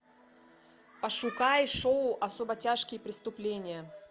пошукай шоу особо тяжкие преступления